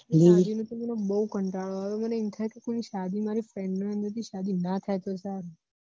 મને બહુ કંટાળો આવ્યો મને એમ થાયે કે કોઈ ના શાદી મારી friend ની શાદી ના થાય તો સારું